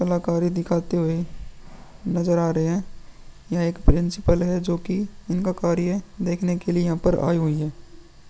कलाकारी दिखाते हुए नज़र आ रहे है। यह एक प्रिंसिपल है जो कि इनका कार्य देखने के लिए यहां पर आयी हुई है।